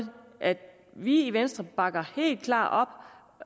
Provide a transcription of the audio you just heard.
at vi i venstre bakker helt klart op